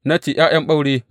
Na ce, ’Ya’yan ɓaure.